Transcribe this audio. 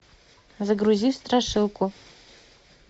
загрузи страшилку